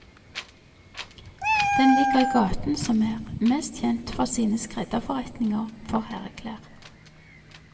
Den ligger i gaten som er mest kjent for sine skredderforretninger for herreklær.